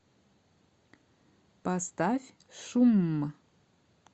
поставь шумм